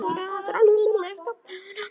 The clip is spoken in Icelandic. Þannig er þetta bara.